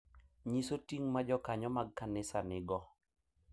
Nyiso ting’ ma jokanyo mag kanisa nigo